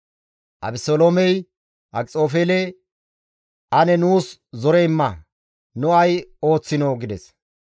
Abeseloomey Akxofeele, «Ane nuus zore imma; nu ay ooththinoo?» gides.